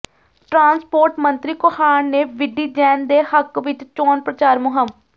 transport ਮੰਤਰੀ ਕੋਹਾੜ ਨੇ ਵਿੱਢੀ ਜੈਨ ਦੇ ਹੱਕ ਵਿੱਚ ਚੋਣ ਪ੍ਰਚਾਰ ਮੁਹਿੰਮ